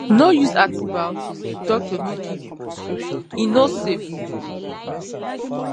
no use antibiotics if doctor no give you prescription e no safe